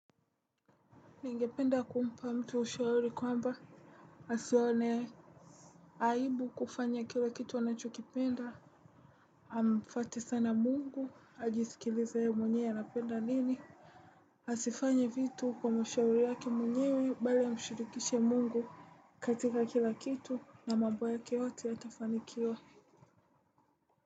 Ningependa kumpa mtu ushauri kwamba, asione aibu kufanya kila kitu anachokipenda, amfuate sana mungu, ajisikilize ye mwenyewe anapenda nini? Asifanya vitu kwa mashauri yake mwenyewe, bali amshirikishe mungu katika kila kitu na mambo yake yote yatafanikiwa.